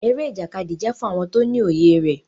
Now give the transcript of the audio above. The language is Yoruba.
Eré Ìjàkadì jẹ fún àwọn tó ní òye rẹ.